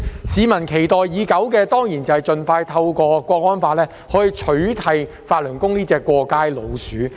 市民期待已久的，當然是盡快透過《香港國安法》取締法輪功這隻"過街老鼠"。